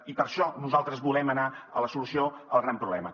i per això nosaltres volem anar a la solució al gran problema